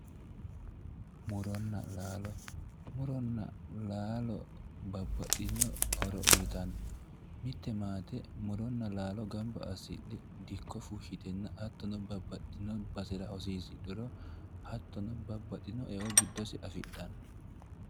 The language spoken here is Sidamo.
muronna laalo muronna laalo babbaxitinno horo uytanno mitte maate muronna laalo gamba assidhe dikko fushshitenna hattono babbaxitinno basera hosiisidhuro hattono babbaxinno eo giddose afidhanno